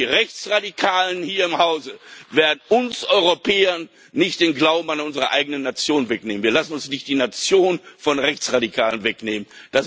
Die Rechtsradikalen hier im Hause werden uns Europäern nicht den Glauben an unsere eigenen Nationen wegnehmen. Wir lassen uns nicht die Nation von Rechtsradikalen wegnehmen.